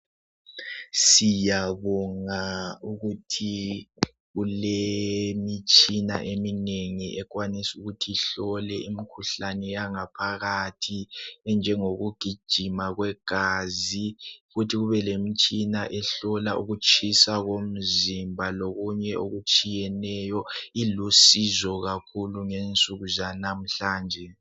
Siyabonga ukuthi kulemitshina eminengi ekwanis' ukuthi ihlole imkhuhlane yangaphakathi enjengokugijima kwegazi, futhi kube lemitshina ehlola ukutshisa komzimba lokunye okutshiyeneyo. Ilusizo kakhulu ngensuku zanamhlanje.